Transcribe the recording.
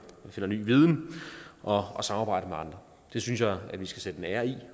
ny viden og og samarbejder med andre det synes jeg vi skal sætte en ære i